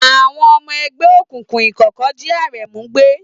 Àwọn ọmọ ẹgbẹ́ òkùnkùn ìkọ̀kọ̀ jí Aremu gbé.